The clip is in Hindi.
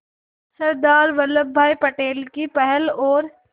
सरदार वल्लभ भाई पटेल की पहल और